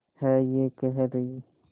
है ये कह रही